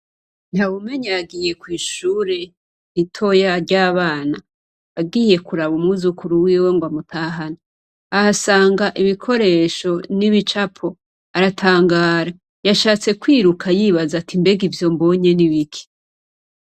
Ntawumenya yagiye kw'ishure ritoya ry'abana, agiye kuraba umwuzukuru wiwe ngwamutahane, ahasanga ibikoresho n'ibicapo aratangara yashatse kwiruka yibaza ati mbega ivyombonye n'ibiki.